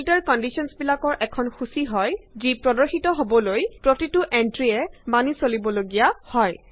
filter কণ্ডিশ্যনবিলাক এখন সূচি হয় যি প্ৰত্যেক এন্ত্ৰিক পূৰা কৰিবলৈ প্ৰদৰ্শিত হয়